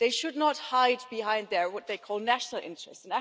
They should not hide behind what they call their national interests.